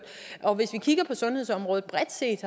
hvis vi kigger på sundhedsområdet bredt set